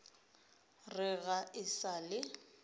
re ga e sa le